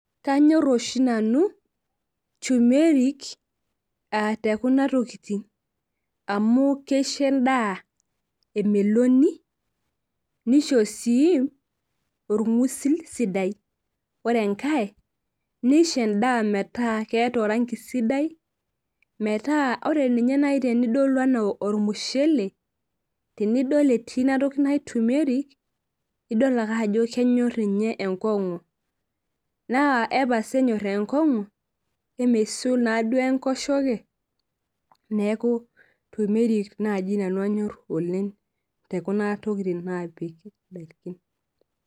Kanyor oshi nanu [cs[tumeric aa tekuna tolitin amu keisho endaa emelonu nisho si orngusil sidai ore enkae nisho endaa metaa keeta orangi sidai metaa ore nai tenudol anaa ormushele tenidol etii inatoki najo tumeric idol ake ajo kenyor enkongu na epasa enyor enkongu amesul naduo enkosheke neaku tumeric nai nanu anyor oleng tekuna tokitin napiki ndakini.